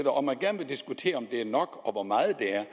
og man gerne vil diskutere om det er nok og hvor meget det er